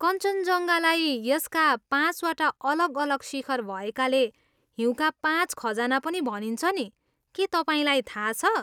कञ्चनजङ्गालाई यसका पाँचवटा अलग अलग शिखर भएकाले हिउँका पाँच खजाना पनि भनिन्छ नि, के तपाईँलाई थाहा छ?